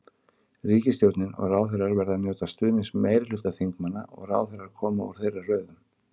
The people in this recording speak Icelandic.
Ríkisstjórnin og ráðherrar verða að njóta stuðnings meirihluta þingmanna og ráðherrar koma úr þeirra röðum.